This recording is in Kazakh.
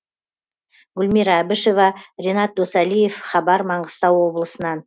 гүлмира әбішева ренат досалиев хабар маңғыстау облысынан